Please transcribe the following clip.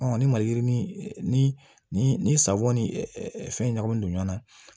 ni maliyirini ni ni ni safɔn ni fɛn ɲagaminen don ɲɔn na